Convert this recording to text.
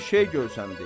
Bir şey görsənib.